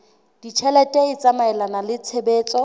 ditjhelete e tsamaelana le tshebetso